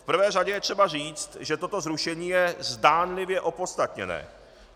V prvé řadě je třeba říct, že toto zrušení je zdánlivě opodstatněné.